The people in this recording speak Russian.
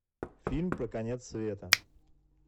фильм про конец света